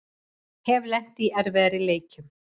Hef lent í erfiðari leikjum